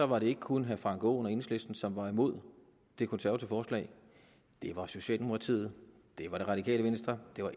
var det ikke kun herre frank aaen og enhedslisten som var imod det konservative forslag det var socialdemokratiet det var det radikale venstre det var